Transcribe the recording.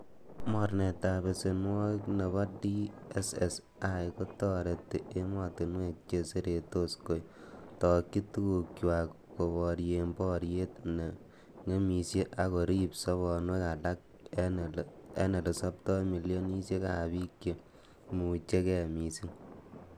Mornetab besenwogik nebo DSSI, kotoreti emotinwek che seretos kotokyi tugukchwak koborien boriot neng'emisie, ak koriib sobonwek ak elesobtoi milioniek ab bik chemoimuche gee missing.